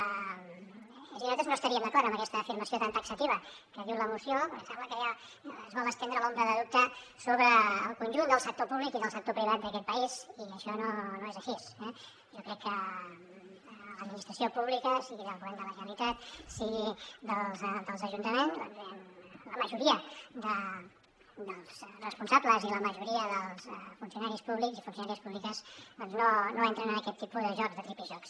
és a dir nosaltres no estaríem d’acord amb aquesta afirmació tan taxativa que diu la moció perquè sembla que ja es vol estendre l’ombra de dubte sobre el conjunt del sector públic i del sector privat d’aquest país i això no és així eh jo crec que l’administració pública sigui del govern de la generalitat sigui dels ajuntaments doncs diguem ne la majoria dels responsables i la majoria dels funcionaris públics i funcionàries públiques doncs no entren en aquest tipus de jocs de tripijocs